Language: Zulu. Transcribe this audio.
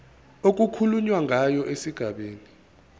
okukhulunywa ngayo esigabeni